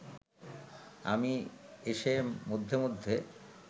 আমি এসে মধ্যে মধ্যে